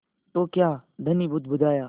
तो क्या धनी बुदबुदाया